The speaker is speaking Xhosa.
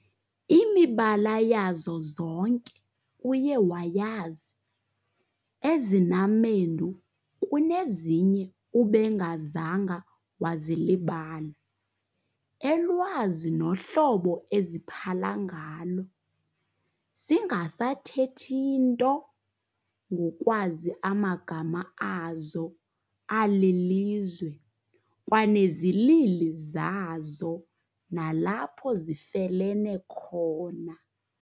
Imibala yazo zonke uye wayazi, ezinamendu kunezinye ubengazanga wazilibala, elwazi nohlobo eziphala ngalo, singasathethi nto ngokwazi amagama azo alilizwe, kwanezilili zazo nalapho zifelene khona.